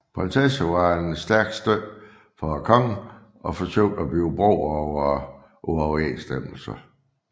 Prinsessen var en stærk støtte for kongen og forsøgte at bygge bro over uoverensstemmelser